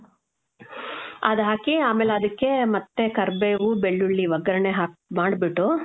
ಅದ್ ಹಾಕಿ ಆಮೇಲ್ ಅದಕ್ಕೆ ಮತ್ತೆ ಕರ್ಬೇವು, ಬೆಳ್ಳುಳ್ಳಿ ಒಗ್ಗರಣೆ ಹಾಕ್, ಮಾಡ್ಬಿಟ್ಟು